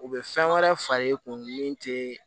U bɛ fɛn wɛrɛ far'i kun min te